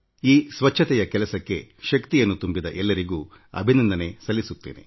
ಈ ಸ್ವಚ್ಛತೆಯ ಕೆಲಸಕ್ಕೆ ಶಕ್ತಿಯನ್ನು ತುಂಬಿದ ಎಲ್ಲರಿಗೂ ಅಭಿನಂದನೆ ಸಲ್ಲಿಸುತ್ತೇನೆ